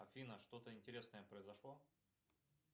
афина что то интересное произошло